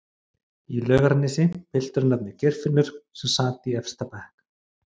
í Laugarnesi, piltur að nafni Geirfinnur sem sat í efsta bekk